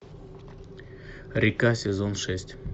река сезон шесть